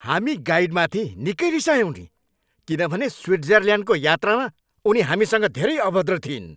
हामी गाइडमाथि निकै रिसायौँ नि किनभने स्विजरल्यान्डको यात्रामा उनी हामीसँग धेरै अभद्र थिइन्।